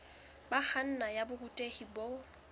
ho kganna ya borutehi bo